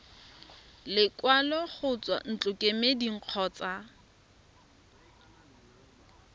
lekwalo go tswa ntlokemeding kgotsa